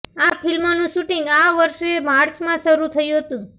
આ ફિલ્મનું શૂટિંગ આ વર્ષે માર્ચમાં શરૂ થયું હતું